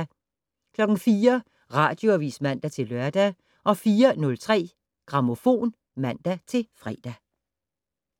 04:00: Radioavis (man-lør) 04:03: Grammofon (man-fre)